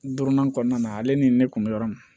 Duurunan kɔnɔna ale ni ne kun bɛ yɔrɔ min na